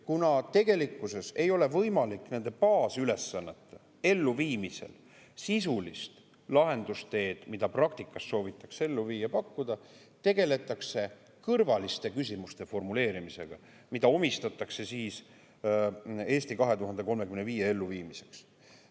Kuna tegelikkuses ei ole võimalik nende baasülesannete elluviimisel sisulist lahendusteed, mida praktikas soovitakse ellu viia, pakkuda, tegeletakse kõrvaliste küsimuste formuleerimisega, mida siis "Eesti 2035" elluviimiseks.